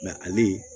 Nka ale